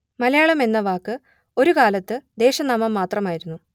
മലയാളം എന്ന വാക്ക് ഒരു കാലത്തു ദേശനാമം മാത്രമായിരുന്നു